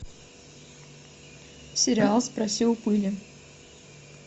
сериал спроси у пыли